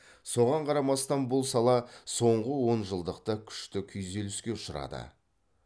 соған қарамастан бұл сала соңғы онжылдықта күшті күйзеліске ұшырады